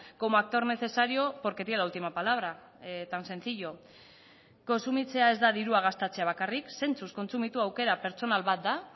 como actor necesario porque tiene la última palabra tan sencillo kontsumitzea ez da dirua gastatzea bakarrik zentzuz kontsumitu aukera pertsonal bat da